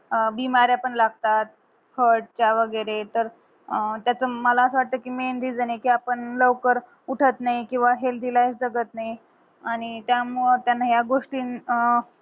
अं लागतात heart च्या वैगरे तर अं त्याच मला असा वाटतं कि main reason ये कि आपण लवकर उठत नाही किंवा healthy life जगत नाही आणि त्यामुळे त्यांना या गोष्टीन अं